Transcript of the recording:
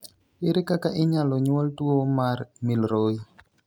Ere kaka inyalo nyuol tuwo mar Milroy?